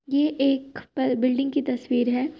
ये एक प-बिल्डिंग की तस्वीर है।